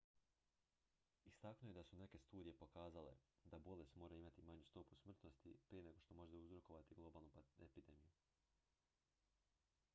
istaknuo je da su neke studije pokazale da bolest mora imati manju stopu smrtnosti prije nego što može uzrokovati globalnu epidemiju